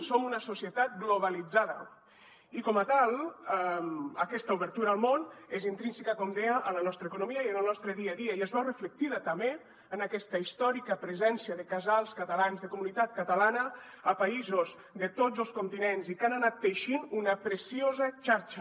som una societat globalitzada i com a tal aquesta obertura al món és intrínseca com deia a la nostra economia i al nostre dia a dia i es veu reflectida també en aquesta històrica presència de casals catalans de comunitat catalana a països de tots els continents i que han anat teixint una preciosa xarxa